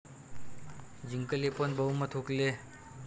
जिंकले पण बहुमत हुकले